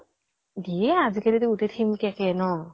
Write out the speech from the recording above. দিয়ে, আজি কালি টো গোতেই theme cake এ ন।